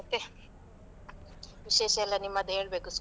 ಮತ್ತೆ, ವಿಶೇಷ ಎಲ್ಲ ನಿಮ್ಮದು ಹೇಳ್ಬೇಕು.